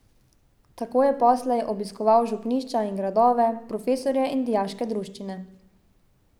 Tako je poslej obiskoval župnišča in gradove, profesorje in dijaške druščine.